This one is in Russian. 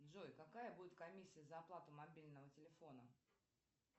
джой какая будет комиссия за оплату мобильного телефона